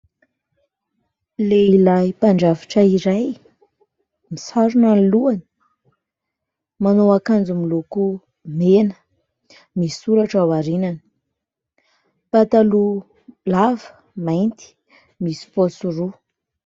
Lehilahy mpandrafitra iray : misarona ny lohany, manao akanjo miloko mena, misy soratra ao aorianany, pataloha lava mainty misy paosy roa.